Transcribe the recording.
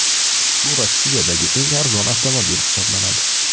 Bu Rossiyadagi eng arzon avtomobil hisoblanadi.